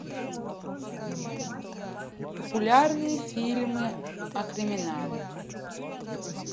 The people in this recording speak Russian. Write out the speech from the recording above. популярные фильмы о криминале